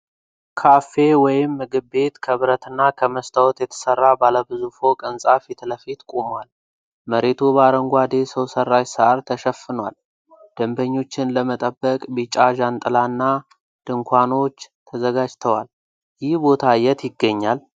ካፌ ወይም ምግብ ቤት ከብረትና ከመስታወት የተሰራ ባለ ብዙ ፎቅ ህንፃ ፊትለፊት ቁሟል። መሬቱ በአረንጓዴ ሰው ሰራሽ ሳር ተሸፍኗል፣ ደንበኞችን ለመጠበቅ ቢጫ ዣንጥላዎችና ድንኳኖች ተዘጋጅተዋል። ይህ ቦታ የት ይገኛል?